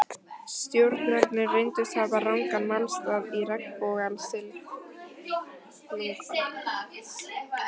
Stjórarnir reyndust hafa rangan málstað í regnbogasilungnum.